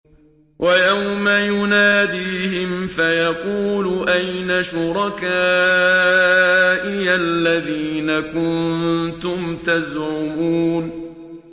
وَيَوْمَ يُنَادِيهِمْ فَيَقُولُ أَيْنَ شُرَكَائِيَ الَّذِينَ كُنتُمْ تَزْعُمُونَ